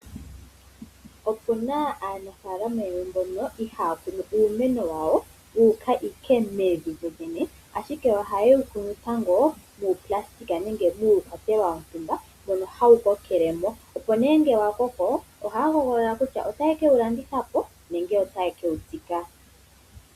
Opu na aanafaalama yamwe mbono iha ya kunu uumeno wawo wu uka mevi lyolyene, ashike oha ye wu kunu tango muukwatelwa wontumba mono ha wu kokele mo. Ngele wa koko oha ya hoogolola ngele ota ye ke wu landitha po nenge ota ye ke wu tsika.